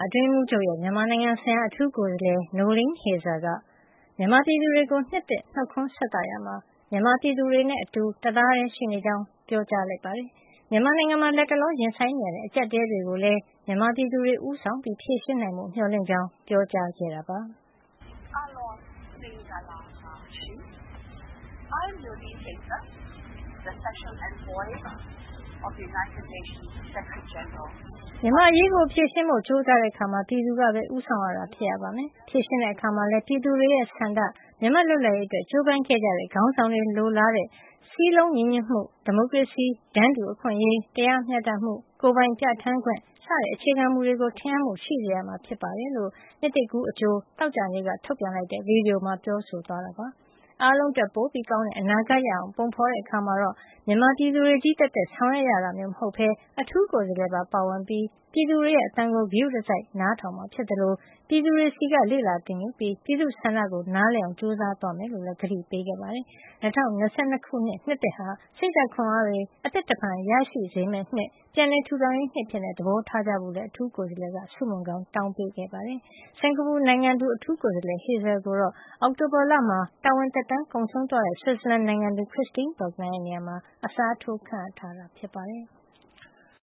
အတွင်းရေးမှုးချုပ်ရဲ့ မြန်မာနိုင်ငံဆိုင်ရာ အထူးကိုယ်စားလှယ် Noeleen Heyzer က မြန်မာပြည်သူတွေကို နှစ်သစ် နှုတ်ခွန်းဆက်သရာမှာ မြန်မာပြည်သူတွေနဲ့ အတူ တသားတည်းရှိနေကြောင်း ပြောကြားလိုက်ပါတယ်။ မြန်မာနိုင်ငံမှာ လတ်တလော ရင်ဆိုင်နေရတဲ့ အကျပ်အတည်းတွေကိုလည်း မြန်မာပြည်သူတွေ ဦးဆောင် ဖြေရှင်းနိုင်ဖို့ မျှော်လင့်ကြောင်း ပြောကြားခဲ့တာပါ။ "မြန်မာ့အရေးကို ဖြေရှင်းဖို့ ကြိုးစားတဲ့အခါမှာ ပြည်သူကပဲ ဦးဆောင်တာ ဖြစ်ရပါမယ်။ ဖြေရှင်းတဲ့အခါမှာလည်း ပြည်သူတွေရဲ့ဆန္ဒ၊ မြန်မာ့လွတ်လပ်ရေးအတွက် ကြိုးပမ်းခဲ့ကြတဲ့ ခေါင်းဆောင်တွေ လိုလားတဲ့ စည်းလုံးညီညွတ်မှု၊ ဒီမိုကရေစီ၊ တန်းတူအခွင့်အေ'ရး၊ တရားမျှတမှု ကိုယ်ပိုင်ပြဌာန်းခွင့် စတဲ့ အခြေခံမူတွေကို ထင်ဟပ်မှု ရှိစေရမှာ ဖြစ်ပါတယ်။" လို့ နှစ်သစ်ကူးအကြို သောကြာနေ့က ထုတ်ပြန်လိုက်တဲ့ ဗွီဒီယိုမှာ ပြောဆိုသွားခဲ့တာပါ။ ပုံဖေါ်တဲ့အခါမှာ မြန်မာပြည်သူတွေချည်း သက်သက် ဆောင်ရွက်ရတာ မျိုးမဟုတ်ပဲ အထူးကိုယ်စားလှယ်ပါ ပါဝင်ပြီး ပြည်သူတွေရဲ့ အသံတွေကို ဂရုတစိုက်နားထောင်မှာ ဖြစ်သလို ပြည်သူတွေဆီက လေ့လာသင်ယူပြီး ပြည်သူ့ဆန္ဒကို နားလည်အောင် ကြိုးစားသွားမှာ ဖြစ်ကြောင်းလည်း ကတိပေးခဲ့ပါတယ်။ ၂၀၂၂ ခုနှစ်သစ်ဟာ စိတ်ဓာတ်ခွန်အားတွေ အသစ်တဖန် ရရှိစေမယ့်နှစ်၊ ပြန်လည်ထူထောင်ရေး နှစ်အဖြစ် သဘောထားကြဖို့လည်း အထူးကိုယ်စားလှယ် Heyzer က ဆုမွန်ကောင်း တောင်းပေးခဲ့ပါတယ်။ စင်္ကာပူနိုင်ငံသူ အထူးကိုယ်စားလှယ် Heyzer ကိုတော့ အောက်တိုဘာလမှာ တာဝန်သက်တမ်း ကုန်ဆုံးသွားတဲ့ ဆွစ်ဇာလန်နိုင်ငံသူ Christine Burgener ရဲ့ နေရာမှာ အစားထိုး ခန့်အပ်ထားတာ ဖြစ်ပါတယ်။